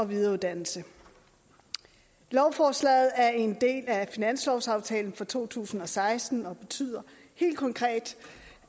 videreuddannelse lovforslaget er en del af finanslovsaftalen for to tusind og seksten og betyder helt konkret